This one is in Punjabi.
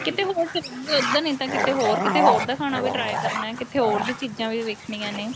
ਕਿਤੇ ਹੋਰ ਚਲਾਗੇ ਉੱਧਰ ਨੀਂ ਤਾਂ ਕਿਤੇ ਹੋਰ ਕੀਤੇ ਹੋਰ ਦਾ ਖਾਣਾ ਵੀ try ਕਰਨਾ ਕਿੱਥੇ ਹੋਰ ਦੀ ਚੀਜ਼ਾਂ ਵੀ ਵੇਖਣੀਆਂ ਨੇ